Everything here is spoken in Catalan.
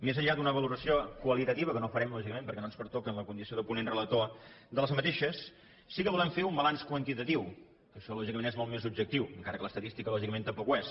més enllà d’una valoració qualitativa que no farem lògicament perquè no ens pertoca en la condició de ponent relator d’aquestes sí que volem fer un balanç quantitatiu que això lògicament és molt més objectiu encara que l’estadística lògicament tampoc ho és